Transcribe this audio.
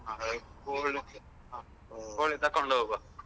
ಕೋಳಿ ಕೋಳಿ ತಕೊಂಡ್ ಹೋಗುವ.